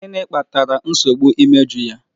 Gịnị kpatara nsogbu imeju ya?